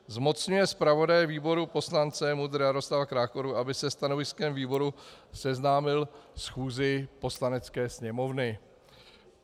Zmocňuje zpravodaje výboru poslance MUDr. Jaroslava Krákoru, aby se stanoviskem výboru seznámil schůzi Poslanecké sněmovny.